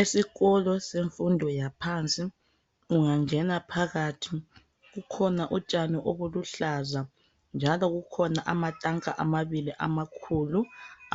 Esikolo sefundo yaphansi ungangena phakathi kukhona utshani obuluhlaza njalo kukhona amatanka amabili amakhulu